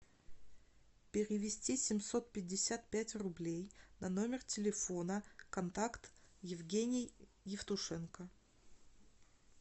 перевести семьсот пятьдесят пять рублей на номер телефона контакт евгений евтушенко